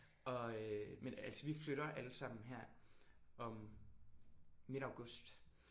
Og øh men altså vi flytter alle sammen her om midt august